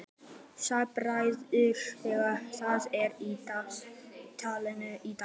Sæbergur, hvað er í dagatalinu í dag?